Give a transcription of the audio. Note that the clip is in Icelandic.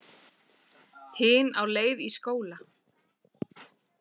Hin á leið í skóla.